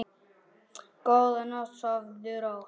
Góða nótt, sofðu rótt.